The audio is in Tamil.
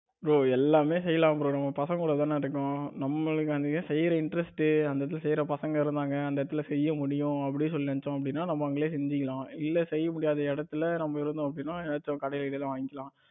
bro எல்லாமே செய்யலாம் bro நம்ம பசங்க கூட தான இருக்கோம். நம்மளுக்கு அங்க செய்ற interest அந்த இடத்துல செய்யற பசங்க இருந்தாங்க அந்த இடத்துல செய்ய முடியும் அப்படின்னு சொல்லி நினைச்சோம்னா நம்ம அங்கேயே செஞ்சுக்கலாம். இல்ல செய்ய முடியாத இடத்துல நம்ம இருந்தோம் அப்படின்னா ஏதாச்சு கடையில கிடையில வாங்கிக்கலாம்.